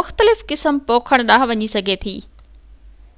مختلف قسم پوکڻ ڏانهن وڃي سگهي ٿي